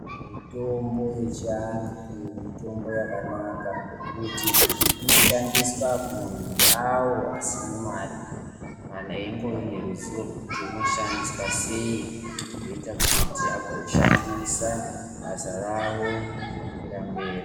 Mitombo yechivantu mitombo yakanaka ngekuti inoshandiswa nemuntu awo Kana einge ane ruzivo rekuti unoshandiswa sei zvoita kuti azoshandisa mazera awo mukandirambira.